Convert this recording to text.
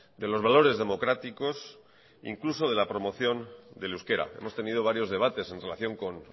de los valores democráticos e incluso de la promoción del euskera hemos tenido varios debates en relación con